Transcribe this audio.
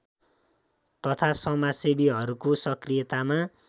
तथा समाजसेवीहरूको सक्रियतामा